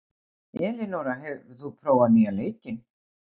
Elinóra, hefur þú prófað nýja leikinn?